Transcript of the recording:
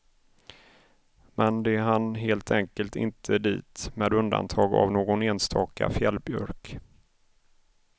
Men de hann helt enkelt inte dit med undantag av någon enstaka fjällbjörk.